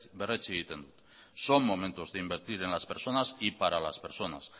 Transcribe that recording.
berretsi egiten du son momentos de invertir en las personas y para las personas